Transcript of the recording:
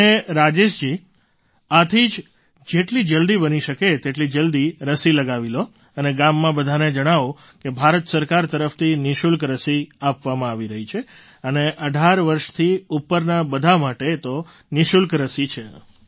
અને રાજેશજી આથી જ જેટલી જલદી બની શકે તેટલી જલદી રસી લગાવી લો અને ગામમાં બધાને જણાવો કે ભારત સરકાર તરફથી નિઃશુલ્ક રસી આપવામાં આવી રહી છે અને ૧૮ વર્ષથી ઉપરના બધા માટે તે નિઃશુલ્ક રસી છે